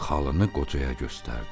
Xalını qocaya göstərdi.